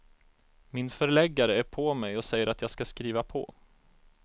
Min förläggare är på mig och säger att jag ska skriva på.